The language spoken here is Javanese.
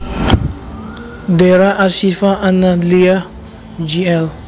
Dera As Syifa An Nahdliyah Jl